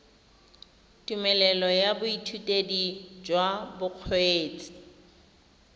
tumelelo ya boithutedi jwa bokgweetsi